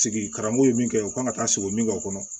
Sigi karamɔgɔ ye min kɛ u kan ka taa sigi min kɛ o kɔnɔ